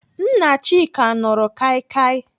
Nna Chika nụrụ kaikai.